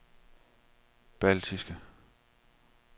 baltiske